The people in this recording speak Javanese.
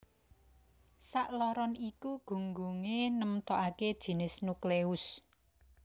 Sakloron iku gunggungé nemtokaké jinis nukleus